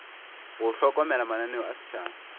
go hlokomela mananeo a setšhaba